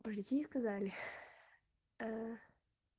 сказали